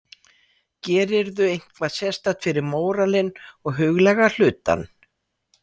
Gerirðu eitthvað sérstakt fyrir móralinn og huglæga hlutann?